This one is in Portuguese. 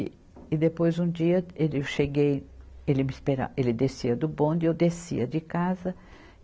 E, e depois, um dia, ele, eu cheguei, ele me espera, ele descia do bonde e eu descia de casa.